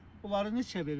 Bunları neçəyə verirsiz?